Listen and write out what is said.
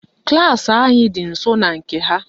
Klaasị anyị dị nsọ na nke ha